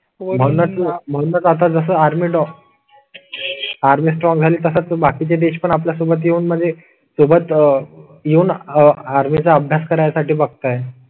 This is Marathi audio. म्हणूनच आता जसं इन ऑफ आर्मी स्ट्रॉंग झाली तसाच. बाकी चे देश पण आपल्या सोबत येऊन म्हणजे सोबत आह येऊन आर्मी चा अभ्यास करण्यासाठी बघताय.